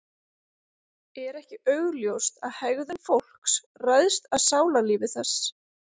Er ekki augljóst að hegðun fólks ræðst af sálarlífi þess?